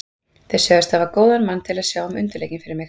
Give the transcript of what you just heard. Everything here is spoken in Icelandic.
Þeir sögðust hafa góðan mann til að sjá um undirleikinn fyrir mig.